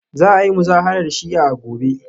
Za a yi Muzaharar Shi'a a gobe